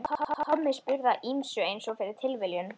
Tommi spurði að ýmsu einsog fyrir tilviljun.